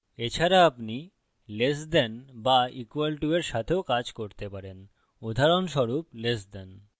এছাড়া আপনি less than ছোট বা equal to সমান এর সাথেও করতে পারেন উদাহরণস্বরূপ less than